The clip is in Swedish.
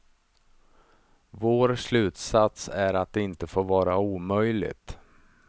Vår slutsats är att det inte får vara omöjligt.